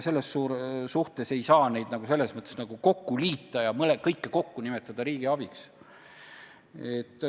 Selles mõttes ei saa neid kõiki kokku liita ja kõike kokku nimetada riigi abiks.